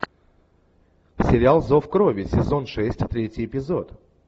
сериал зов крови сезон шесть третий эпизод